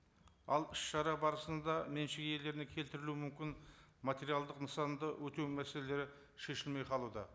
ал іс шара барысында меншік иелеріне келтірілу мүмкін материалдық нысанды өтеу мәселелері шешілмей қалуда